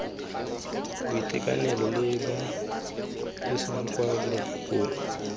boitekanelo le pabalesego kwa meepong